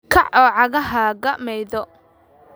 Kaac oo cagahaaga maydho